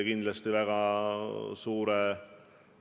Meil on valitsuses kaks konservatiivset erakonda ja üks liberaalne erakond.